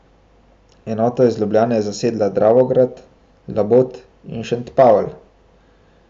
Enota iz Ljubljane je zasedla Dravograd, Labot in Šentpavel.